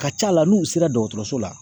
A Ka ca la n'u sera dɔgɔtɔrɔso la.